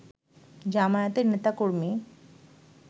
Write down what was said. জামায়াতের নেতা-কর্মী